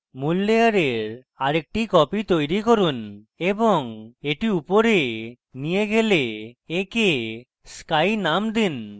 মূল layer আরেকটি copy তৈরী করুন এবং এটি উপরে নিয়ে গিয়ে একে sky name দিন